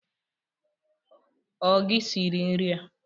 O gi siri nri a?